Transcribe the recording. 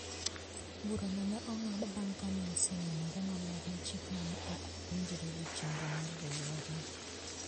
Bura no ne ong`ad bang ' ka ne osenenore maler ni chikno ne ok winjre gi chenro mar riwruogno.